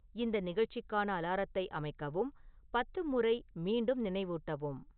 இந்த நிகழ்ச்சிக்கான அலாரத்தை அமைக்கவும், பத்து முறை மீண்டும் நினைவூட்டவும்